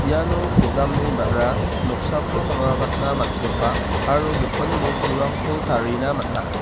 iano kodamni ba·ra noksako mangrakatna man·gipa aro gipin bosturangko tarina man·a.